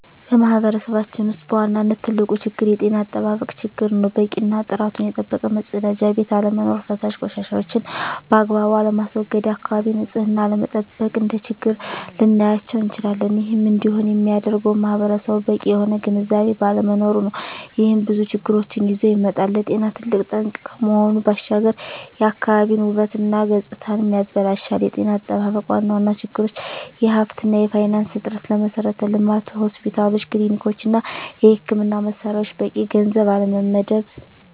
በማህበረሰባችን ውስጥ በዋናነት ትልቁ ችግር የጤና አጠባበቅ ችግር ነው። በቂ እና ጥራቱን የጠበቀ መፀዳጃ ቤት አለመኖር። ፈሳሽ ቆሻሻዎችን ባግባቡ አለማስዎገድ፣ የአካባቢን ንፅህና አለመጠበቅ፣ እንደ ችግር ልናያቸው እንችላለን። ይህም እንዲሆን የሚያደርገውም ማህበረሰቡ በቂ የሆነ ግንዝቤ ባለመኖሩ ነው። ይህም ብዙ ችግሮችን ይዞ ይመጣል። ለጤና ትልቅ ጠንቅ ከመሆኑ ባሻገር የአካባቢን ውበት እና ገፅታንም ያበላሻል። የጤና አጠባበቅ ዋና ዋና ችግሮች የሀብት እና የፋይናንስ እጥረት፣ ለመሠረተ ልማት (ሆስፒታሎች፣ ክሊኒኮች) እና የሕክምና መሣሪያዎች በቂ ገንዘብ አለመመደብ።